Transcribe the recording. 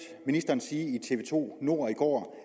ministeren sige i tv to nord i går